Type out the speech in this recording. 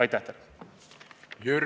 Aitäh teile!